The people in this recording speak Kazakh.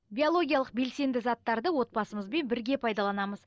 биологиялық белсенді заттарды отбасымызбен бірге пайдаланамыз